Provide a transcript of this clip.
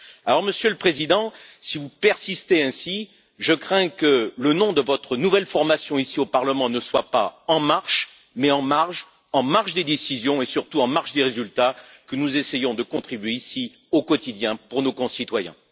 Par conséquent, Monsieur le Président, si vous persistez ainsi, je crains que le nom de votre nouvelle formation ici au Parlement ne soit pas En Marche mais En Marge en marge des décisions et, surtout, en marge des résultats auxquels nous essayons, ici, de contribuer au quotidien pour nos concitoyens.